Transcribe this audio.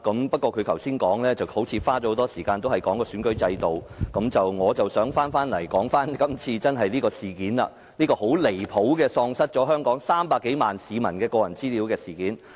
不過，他在剛才的發言中花了很多篇幅談論選舉制度，但我想集中討論今次這宗很離譜地遺失了香港300多萬市民的個人資料的事件。